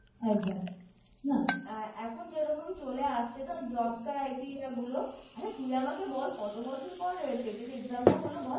একদম না এখন যেরকম চলে আসছে ধর Job Criteria গুলো আরে তুই আমাকে বল কত বছর পর TET এর Exam টা হল বল